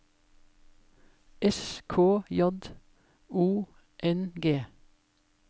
S K J O N G